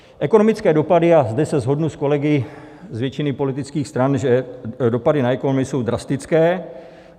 Ekonomické dopady, a zde se shodnu s kolegy z většiny politických stran, že dopady na ekonomiku jsou drastické.